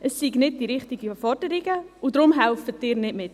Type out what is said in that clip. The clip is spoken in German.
Es seien nicht die richtigen Forderungen, und darum helfen Sie nicht mit.